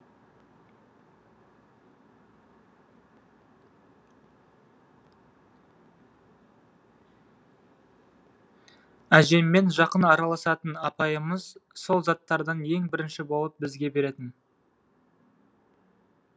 әжеммен жақын араласатын апайымыз сол заттардан ең бірінші болып бізге беретін